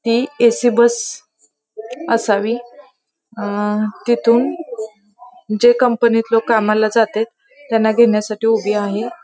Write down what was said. ती AC bus असावी अंह तिथून जे कंपनीत लोक कामाला जाते त्यांना घेण्यासाठी उभी आहेत.